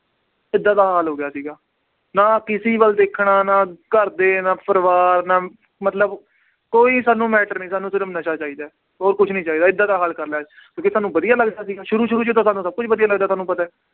ਏਦਾਂ ਦਾ ਹਾਲ ਹੋ ਗਿਆ ਸੀਗਾ, ਨਾ ਕਿਸੇ ਵੱਲ ਦੇਖਣਾ, ਨਾ ਘਰਦੇ ਨਾ ਪਰਿਵਾਰ ਨਾ ਮਤਲਬ ਕੋਈ ਸਾਨੂੰ matter ਨੀ ਸਾਨੂੰ ਸਿਰਫ਼ ਨਸ਼ਾ ਚਾਹੀਦਾ ਹੈ, ਹੋਰ ਕੁਛ ਨੀ ਚਾਹੀਦਾ ਏਦਾਂ ਦਾ ਹਾਲ ਕਰ ਲਿਆ ਕਿਉਂਕਿ ਸਾਨੂੰ ਵਧੀਆ ਲੱਗਦਾ ਸੀਗਾ ਸ਼ੁਰੂ ਸ਼ੁਰੂ 'ਚ ਤਾਂ ਸਾਨੂੰ ਸਭ ਕੁਛ ਵਧੀਆ ਲੱਗਦਾ ਤੁਹਾਨੂੰ ਪਤਾ ਹੈ।